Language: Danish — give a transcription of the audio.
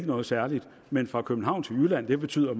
noget særligt men fra københavn til jylland betyder